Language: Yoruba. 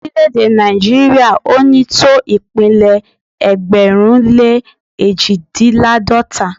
Orílẹ̀-èdè Nàìjíríà ò ní tó ìpínlẹ̀ ẹgbẹ̀rún lé èjìdínláàdọ́ta